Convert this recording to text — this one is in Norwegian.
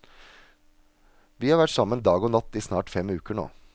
Vi har vært sammen dag og natt i snart fem uker nå.